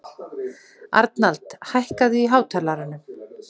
Arnald, hækkaðu í hátalaranum.